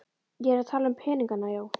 Ég er að tala um peningana, já.